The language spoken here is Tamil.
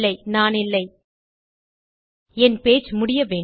நானில்லை என் பேஜ் முடிய வேண்டும்